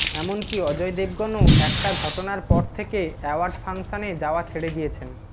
এমনকী অজয় দেবগনও একটা ঘটনার পর থেকে অ্যাওয়ার্ড ফাংশানে যাওয়া ছেড়ে দিয়েছেন